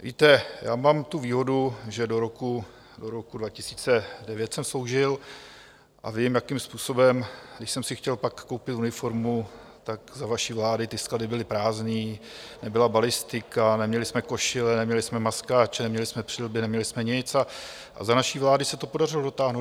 Víte, já mám tu výhodu, že do roku 2009 jsem sloužil, a vím, jakým způsobem, když jsem si chtěl pak koupit uniformu, tak za vaší vlády ty sklady byly prázdné, nebyla balistika, neměli jsme košile, neměli jsme maskáče, neměli jsme přilby, neměli jsme nic a za naší vlády se to podařilo dotáhnout.